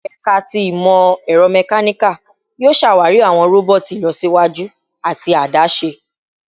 Ẹka ti Imọ-ẹrọ Mechanical yoo ṣawari awọn roboti ilọsiwaju ati adaṣe